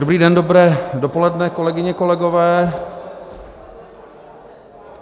Dobrý den, dobré dopoledne, kolegyně, kolegové.